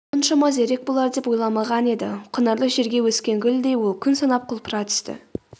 мұншама зерек болар деп ойламаған еді құнарлы жерге өскен гүлдей ол күн санап құлпыра түсті